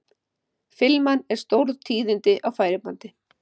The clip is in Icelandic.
Filman er stórtíðindi á færibandi.